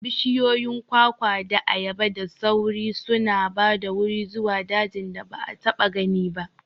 Bishiyoyin kwakwa da ayaba da sauri suna ba da wuri zuwa dajin da ba a taɓa gani ba.